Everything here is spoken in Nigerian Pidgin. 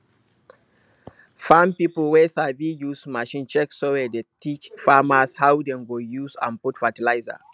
farm pipo wey sabi use machine check soil dey teach farmers how dem go use and put fertilizer